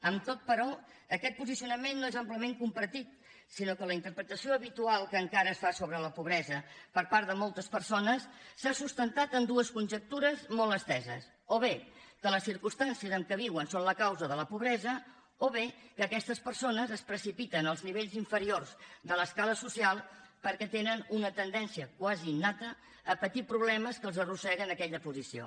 amb tot però aquest posicionament no és amplament compartit sinó que la interpretació habitual que encara es fa sobre la pobresa per part de moltes persones s’ha sustentat en dues conjectures molt esteses o bé que les circumstàncies en què viuen són la causa de la pobresa o bé que aquestes persones es precipiten als nivells inferiors de l’escala social perquè tenen una tendència quasi innata a patir problemes que els arrosseguen a aquella posició